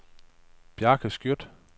Bjarke Skjødt